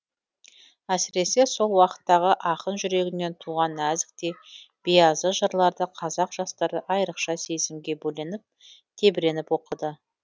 әсіресе сол уақыттағы ақын жүрегінен туған нәзік те биязы жырларды қазақ жастары айрықша сезімге бөленіп тебіреніп оқыды